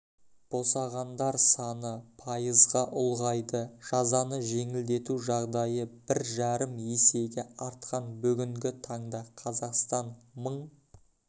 босағандар саны пайызға ұлғайды жазаны жеңілдету жағдайы бір жарым есеге артқан бүгінгі таңда қазақстан мың